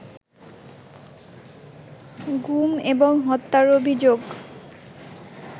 গুম এবং হত্যার অভিযোগ